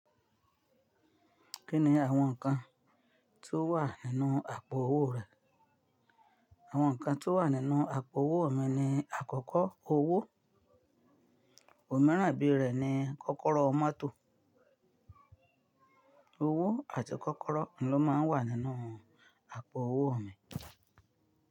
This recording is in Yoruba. Kí ni àwọn nǹkan tí ó wà nínú àpò owó rẹ? Àwọn nǹkan tí ó wà nínú àpò owó mi ni àkọ́kọ́, owó, òmíràn bíi rẹ̀ ni kọ́kọ́rọ́ mọ́tò. Owó àti kọ́kọ́rọ́ ni ó máa wà nínú àpò owó mi.